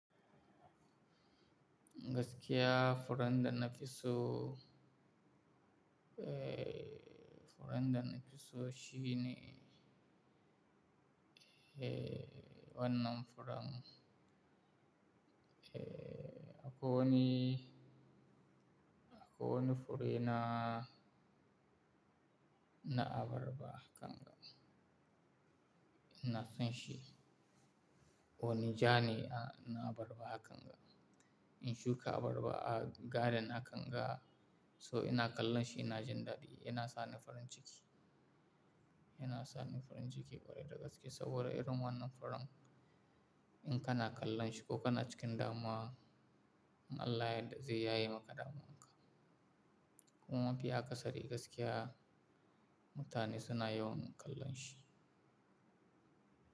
Gaskiya furar da na fi so, eh, furar da na fi so shi ne, eh, wannan furan. Eh, akwai wani, akwai wani fure na, na abarba kanga. Ina son shi. Wani ja ne a, na abarba hakan ga. In shuka abarba a garden hakan ga, so ina kallon shi ina jin dadi. Yana sani farin ciki. Yana sani farin ciki kwarai da gaske saboda irin wannan furan in kana kallon shi ko kana cikin damuwa, in Allah ya yadda zai yaye maka damuwan ka. Kuma mafi akasari gaskiya, mutane suna yawan kallon shi.